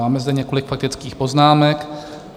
Máme zde několik faktických poznámek.